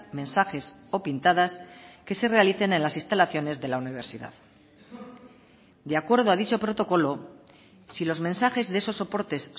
mensajes o pintadas que se realicen en las instalaciones de la universidad de acuerdo a dicho protocolo si los mensajes de esos soportes